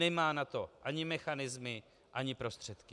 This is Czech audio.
Nemá na to ani mechanismy ani prostředky.